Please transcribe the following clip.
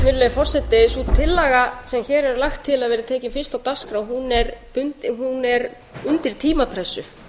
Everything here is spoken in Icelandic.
virðulegi forseti sú tillaga sem hér lagt til að verði tekin fyrst á dagskrá er undir tímapressu